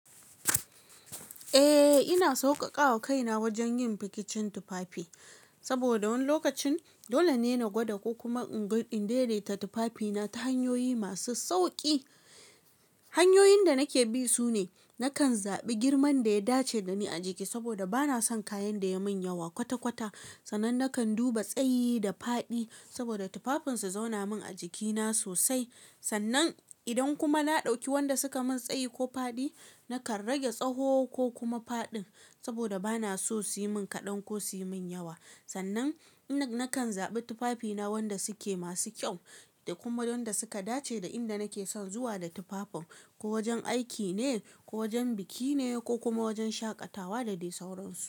Eh ina sauƙaƙa wa kaina wajen yin fikicin tufafi. Saboda wani lokacin dole ne na gwada ko kuma in ga in daidaita tufafina ta hanyoyi masu sauƙi. Hanyoyin da nake bi sune, nakan zaɓi girman da ya dace da ni a jiki saboda bana son kayan da ya min yawa kwata-kwata. Sannan nakan duba tsayi da faɗi saboda tufafin su zauna min a jikina sosai. Sannan idan kuma na ɗauki wanda suka min tsayi ko faɗi, nakan rage tsawo ko kuma faɗin saboda bana so su yi min kaɗan ko su yi min yawa. Sannan nakan zaɓi tufafina wanda suke masu kyau da kuma wanda suka dace da inda nake son zuwa da tufafin. Ko wajen aiki ne, ko wajen biki ne ko kuma wajen shaƙatawa da dai sauransu.